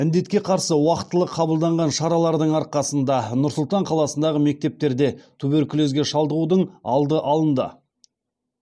індетке қарсы уақытылы қабылданған шаралардың арқасында нұр сұлтан қаласындағы мектептерде туберкулезге шалдығудың алды алынды